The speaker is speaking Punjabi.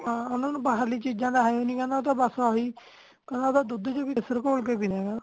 ਓਹਨਾ ਨੂੰ ਬਾਹਰਲੀ ਚੀਜਾਂ ਦਾ ਹੈ ਈ ਨੀ ਕਹਿੰਦਾ ਉਹ ਤੇ ਬਸ ਆਹੀ ਉਹ ਤਾ ਦੁੱਧ ਚ ਵੀ ਕੇਸਰ ਕੋਲ ਕੇ ਪੀਂਦੇ ਆ